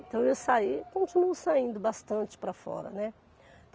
Então, eu saí, continuo saindo bastante para fora, né?